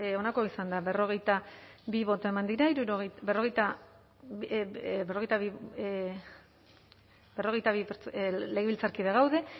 onako izan da berrogeita bi boto eman dira hirurogeia berrogeita eh eh berrogeita bi eh berrogeita bi pertz eh legebiltzarkide gaude